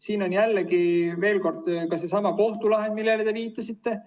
Siin on jällegi seesama kohtulahend, millele te viitasite.